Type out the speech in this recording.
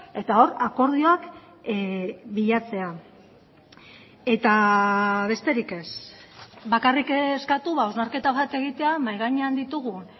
eta hor akordioak bilatzea eta besterik ez bakarrik eskatu hausnarketa bat egitea mahai gainean ditugun